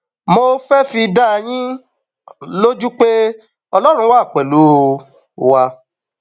mo fẹẹ fi dá yín um lójú pé ọlọrun wà pẹlú um wa